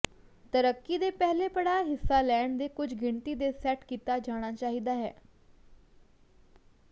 ਤਰੱਕੀ ਦੇ ਪਹਿਲੇ ਪੜਾਅ ਹਿੱਸਾ ਲੈਣ ਦੇ ਕੁਝ ਗਿਣਤੀ ਦੇ ਸੈੱਟ ਕੀਤਾ ਜਾਣਾ ਚਾਹੀਦਾ ਹੈ